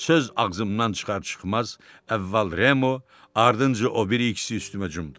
Söz ağzımdan çıxar-çıxmaz əvvəl Remo, ardınca o biri ikisi üstümə cumdu.